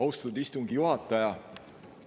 Austatud istungi juhataja!